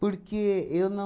Porque eu não...